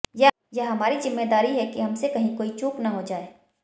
यह हमारी जिम्मेदारी है कि हमसे कहीं कोई चूक न हो जाए